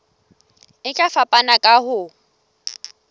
e tla fapana ka ho